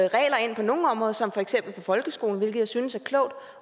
regler ind på nogle områder som for eksempel folkeskolen hvilket jeg synes er klogt